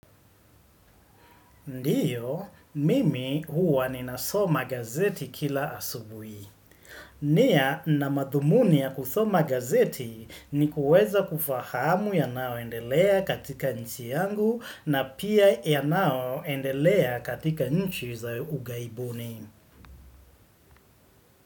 Ndiyo, mimi huwa nina soma gazeti kila asubui. Nia na madhumuni ya kusoma gazeti ni kuweza kufahamu yanao endelea katika nchi yangu na pia ya nao endelea katika nchi za ugaibuni.